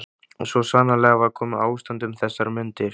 Og svo sannarlega var komið ástand um þessar mundir.